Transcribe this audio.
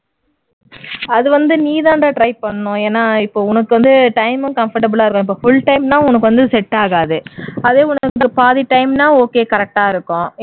அது வந்து நீ தான்டா try பண்ணனும் ஏன்னா இப்போ உனக்கு வந்து time ம் comfortable ஆ இருக்கணும் இப்போ full time னா உனக்கு வந்து செட்டாகாது உனக்கு பாதி time னா okay correct டா இருக்கும்